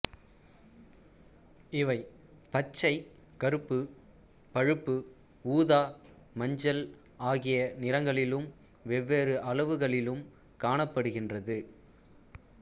இவை பச்சை கருப்பு பழுப்பு ஊதா மஞ்சள் ஆகிய நிறங்களிலும் வெவ்வேறு அளவுகளிலும் காணப்படுகின்றது